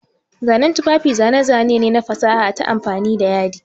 Zanen tufafi zane-zane ne na fasaha ta amfani da yadi.